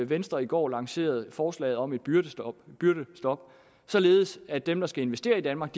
venstre i går lancerede forslaget om et byrdestop således at dem der skal investere i danmark